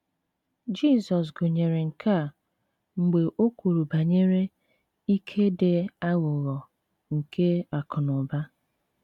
Jizọs gụnyere nke a mgbe o kwuru banyere “ ike dị aghụghọ nke akụ̀ na ụba.